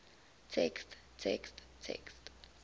text text text